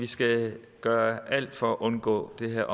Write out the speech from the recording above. vi skal gøre alt for at undgå det